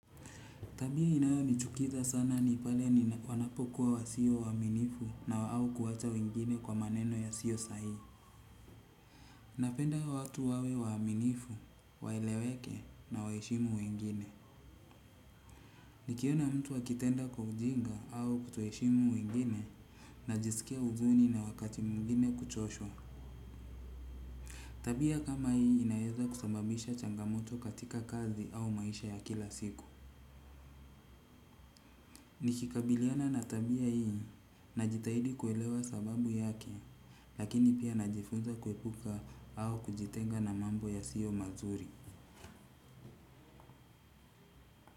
Tabia inayonichukiza sana ni pale ni wanapokuwa wasio waaminifu na wa au kuwacha wengine kwa maneno yasiyo sahi. Napenda watu wawe waaminifu, waeleweke na waheshimu wengine. Nikiona mtu akitenda kwa ujinga au kutoheshimu wengine najisikia huzuni na wakati mwingine kuchoshwa. Tabia kama hii inaeza kusambabisha changamoto katika kazi au maisha ya kila siku. Nikikabiliana na tabia hii, najitahidi kuelewa sababu yake, lakini pia najifunza kuepuka au kujitenga na mambo yasiyomazuri.